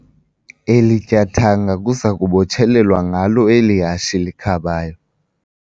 Eli tyathanga kuza kubotshelelwa ngalo eli hashe likhabayo.